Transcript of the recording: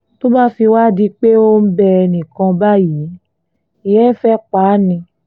tó bá fi wáá di pé ò ń bẹ ẹnì kan báyìí ìyẹn ti fẹ́ẹ́ pa á ni